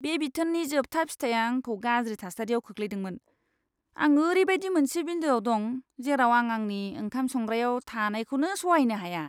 बे बिथोननि जोबथा फिथाया आंखौ गाज्रि थासारियाव खोख्लैदोंमोन। आं ओरैबायदि मोनसे बिन्दोआव दं, जेराव आं आंनि ओंखाम संग्रायाव थानायखौनो सहायनो हाया!